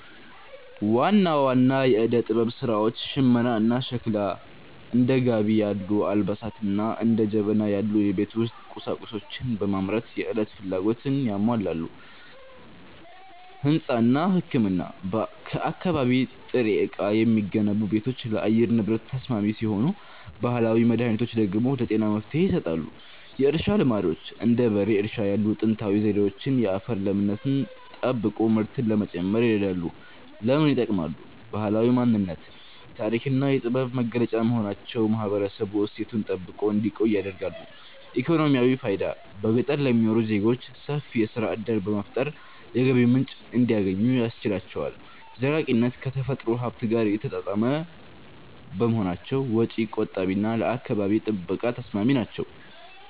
ዋና ዋና የዕደ-ጥበብ ሥራዎች ሽመናና ሸክላ፦ እንደ ጋቢ ያሉ አልባሳትንና እንደ ጀበና ያሉ የቤት ውስጥ ቁሳቁሶችን በማምረት የዕለት ፍላጎትን ያሟላሉ። ሕንጻና ሕክምና፦ ከአካባቢ ጥሬ ዕቃ የሚገነቡ ቤቶች ለአየር ንብረት ተስማሚ ሲሆኑ፣ ባህላዊ መድኃኒቶች ደግሞ ለጤና መፍትሔ ይሰጣሉ። የእርሻ ልማዶች፦ እንደ በሬ እርሻ ያሉ ጥንታዊ ዘዴዎች የአፈርን ለምነት ጠብቆ ምርትን ለመጨመር ይረዳሉ። ለምን ይጠቅማሉ? ባህላዊ ማንነት፦ የታሪክና የጥበብ መገለጫ በመሆናቸው ማህበረሰቡ እሴቱን ጠብቆ እንዲቆይ ያደርጋሉ። ኢኮኖሚያዊ ፋይዳ፦ በገጠር ለሚኖሩ ዜጎች ሰፊ የሥራ ዕድል በመፍጠር የገቢ ምንጭ እንዲያገኙ ያስችላቸዋል። ዘላቂነት፦ ከተፈጥሮ ሀብት ጋር የተጣጣሙ በመሆናቸው ወጪ ቆጣቢና ለአካባቢ ጥበቃ ተስማሚ ናቸው።